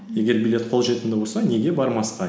егер билет қолжетімді болса неге бармасқа